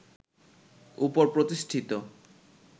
উপর প্রতিষ্ঠিত